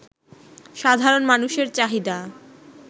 সাধারণ মানুষের চাহিদা